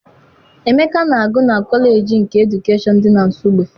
Emeka na-agụ na kọleji nke edukeshọn dị na Nsugbe.